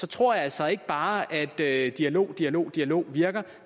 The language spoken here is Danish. tror jeg altså ikke bare at dialog dialog dialog virker